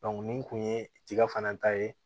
nin kun ye tiga fana ta ye